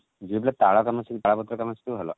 ଝିଅ ପିଲା ତାଳ କାମ ତାଳ ପତ୍ର କାମ ଶିଖିବ ଭଲ